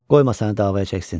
Qoyma səni davaya çəksin.